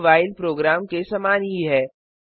तर्क while program के समान ही है